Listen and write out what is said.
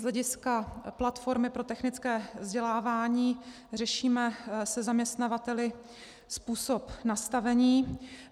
Z hlediska platformy pro technické vzdělávání řešíme se zaměstnavateli způsob nastavení.